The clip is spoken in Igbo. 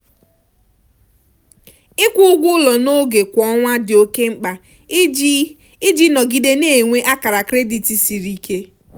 ịkwụ ụgwọ ụlọ n'oge kwa ọnwa dị oke mkpa iji iji nọgide na-enwe akara kredit siri ike.